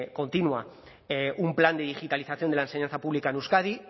continua un plan de digitalización de la enseñanza pública en euskadi